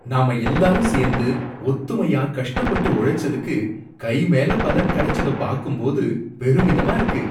நாம எல்லாரும் சேந்து ஒத்துமையா கஷ்டப்பட்டு உழைச்சதுக்கு, கை மேல பலன் கடச்சத பாக்கும்போது பெருமிதமா இருக்கு.